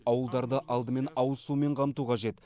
ауылдарды алдымен ауыз сумен қамту қажет